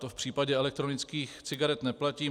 To v případě elektronických cigaret neplatí.